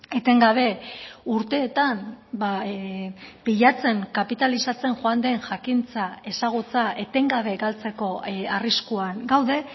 etengabe urteetan pilatzen kapitalizatzen joan den jakintza ezagutza etengabe galtzeko arriskuan gaude